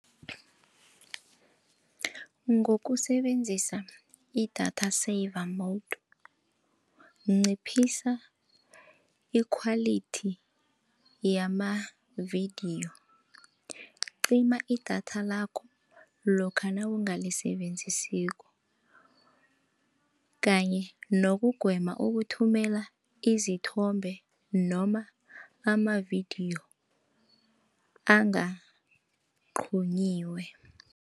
Ngokusebenzisa i-data saver nciphisa ikhwalithi yamavidiyo, cima idatha lakho nawungalisebenzisiko, kanye nokugwema ukuthumela izithombe noma amavidiyo angaqunyiwe.